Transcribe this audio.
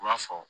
U b'a fɔ